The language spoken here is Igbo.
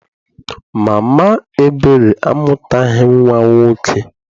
Mama Ebere amụtaghị nnwa nwoke.